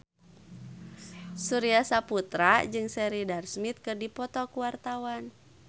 Surya Saputra jeung Sheridan Smith keur dipoto ku wartawan